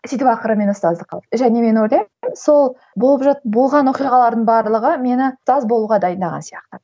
сөйтіп ақыры мені ұстаздыққа алды және мен ойлаймын сол болып болған оқиғалардың барлығы мені ұстаз болуға дайындаған сияқты